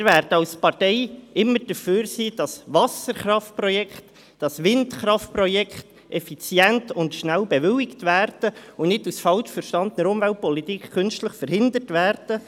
Wir werden als Partei immer dafür sein, dass Wasserkraft- und Windkraftprojekte effizient und schnell bewilligt und nicht aus falsch verstandener Umweltpolitik künstlich verhindert werden.